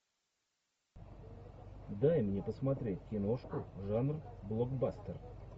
дай мне посмотреть киношку жанр блокбастер